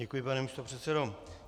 Děkuji, pane místopředsedo.